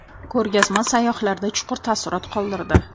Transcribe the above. Ko‘rgazma sayyohlarda chuqur taassurot qoldirdi.